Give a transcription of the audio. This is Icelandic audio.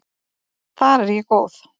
Þar er ég góð.